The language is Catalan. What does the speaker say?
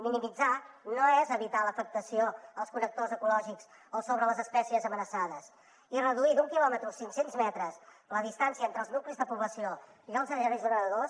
minimitzar no és evitar l’afectació als connectors ecològics o sobre les espècies amenaçades i reduir d’un quilòmetre a cinc cents metres la distància entre els nuclis de població i els aerogeneradors